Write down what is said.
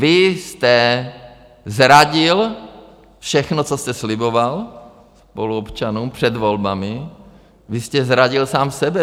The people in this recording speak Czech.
Vy jste zradil všechno, co jste sliboval spoluobčanům před volbami, vy jste zradil sám sebe.